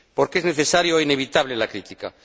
Porque es necesaria e inevitable la crítica